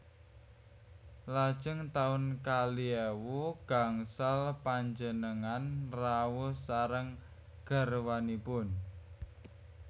Lajeng taun kalih ewu gangsal panjenengan rawuh sareng garwanipun